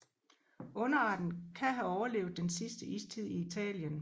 Underarten kan have overlevet den sidste istid i Italien